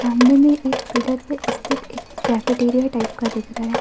कमरे में एक पिलर पे स्थित एक कैफेटेरिया टाइप का दिख रहा है।